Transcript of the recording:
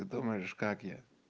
ты думаешь как я